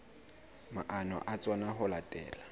maano a tsona ho latela